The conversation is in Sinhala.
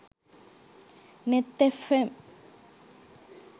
neth fm